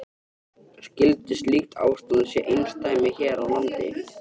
Skyldi slíkt ástand sé einsdæmi hér á landi?